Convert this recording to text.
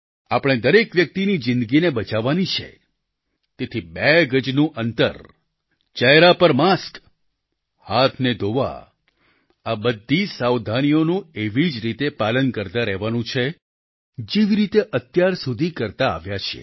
આપણે દરેક વ્યક્તિની જીંદગીને બચાવવાની છે તેથી બે ગજનું અંતર ચહેરા પર માસ્ક હાથને ધોવા આ બધી સાવધાનીઓનું એવી જ રીતે પાલન કરતા રહેવાનું છે જેવી રીતે અત્યારસુધી કરતા આવ્યા છીએ